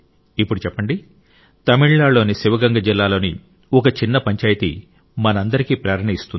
ఇప్పుడు చెప్పండి తమిళనాడులోని శివగంగ జిల్లాలోని ఒక చిన్న పంచాయితీ మనందరికీ ప్రేరణ ఇస్తుంది